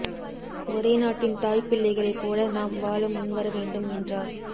ஒரே நாட்டின் தாய் பிள்ளைகளை போல நாம் வாழ முன் வர வேண்டும் என்றார்